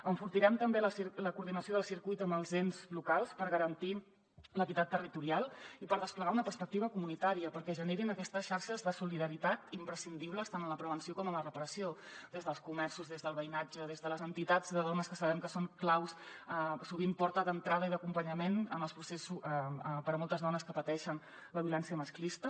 enfortirem també la coordinació del circuit amb els ens locals per garantir l’equitat territorial i per desplegar una perspectiva comunitària perquè generin aquestes xarxes de solidaritat imprescindibles tant en la prevenció com en la reparació des dels comerços des del veïnatge des de les entitats de dones que sabem que són clau sovint porta d’entrada i d’acompanyament en els processos per a moltes dones que pateixen la violència masclista